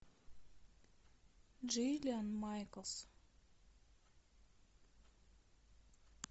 джиллиан майклс